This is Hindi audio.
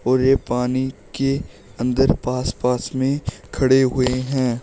और ये पानी के अंदर पास पास में खड़े हुए हैं।